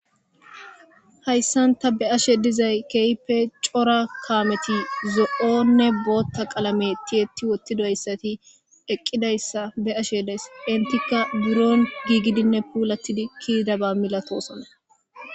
Hayssan ta be'ashe dizay keehippe cora makinetti zo'onne booththa qaalame tiyetti woththidoyssatti eqqidayssa be'ashe days. Henttikka biron gigidinne pullatidi ke'idabba millatosonna.